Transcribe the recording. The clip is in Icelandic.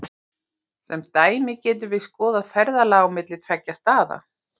Sem dæmi getum við skoðað ferðalag á milli tveggja staða.